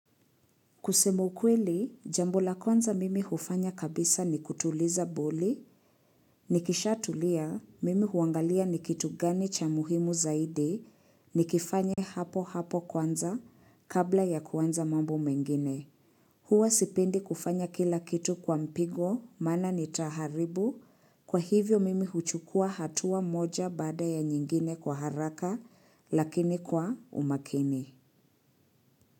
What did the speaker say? Kusema ukweli, jambo la kwanza mimi hufanya kabisa ni kutuliza boli, nikishatulia mimi huangalia ni kitu gani cha muhimu zaidi, nikifanya hapo hapo kwanza kabla ya kuanza mambo mengine. Huwa sipindi kufanya kila kitu kwa mpigo maana nitaharibu, kwa hivyo mimi huchukua hatua moja baada ya nyingine kwa haraka lakini kwa umakini.